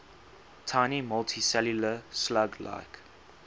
tiny multicellular slug like